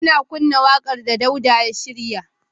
Ina kunna wakar da Dauda ya shirya.